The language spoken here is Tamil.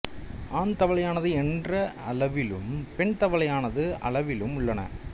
ஆண் தவளையானது என்ற அளவிலும் பெண் தவளையானது அளவிலும் உள்ளன